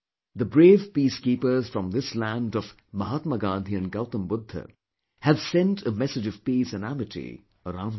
The brave peacekeepers from this land of Mahatma Gandhi and Gautam Budha have sent a message of peace and amity around the world